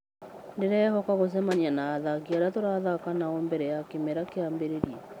Ndĩrehoka gũcemania na athaki aria tũthaka nao mbere ya kĩmera kĩambĩrĩirie.